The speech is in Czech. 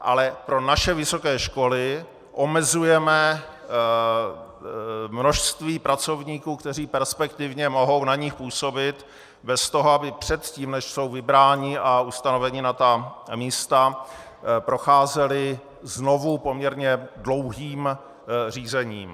Ale pro naše vysoké školy omezujeme množství pracovníků, kteří perspektivně mohou na nich působit bez toho, aby předtím, než jsou vybráni a ustanoveni na ta místa, procházeli znovu poměrně dlouhým řízením.